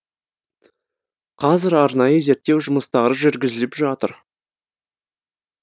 қазір арнайы зерттеу жұмыстары жүргізіліп жатыр